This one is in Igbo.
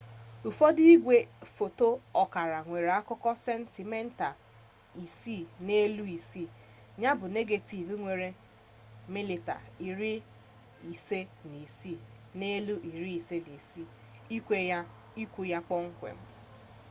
ụfọdụ igwe foto ọkara nwere akụkụ sentimita 6 n'elu 6 ya bụ negetiv nwere milimita 56 n'elu 56 ikwu ya kpọmkwem